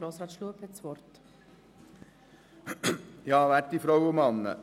Der Antragsteller hat das Wort.